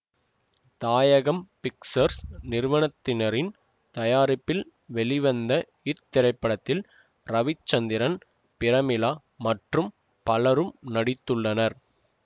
தாயகம் பிக்சர்ஸ் நிறுவனத்தினரின் தயாரிப்பில் வெளிவந்த இத்திரைப்படத்தில் ரவிச்சந்திரன் பிரமிளா மற்றும் பலரும் நடித்துள்ளனர்